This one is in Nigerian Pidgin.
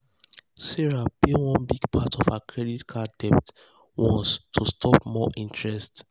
sarah pay one big part of her credit card debt once to stop more interest.